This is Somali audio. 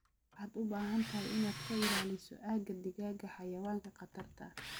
Waxaad u baahan tahay inaad ka ilaaliso aagga digaagga xayawaanka khatarta ah.